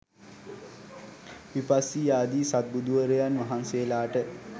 විපස්සී ආදී සත් බුදුවරයන් වහන්සේලාට